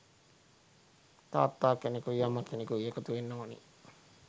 තාත්තා කෙනෙකුයි අම්මා කෙනෙකුයි එකතු වෙන්න ඕන